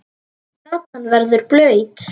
Gatan verður blaut.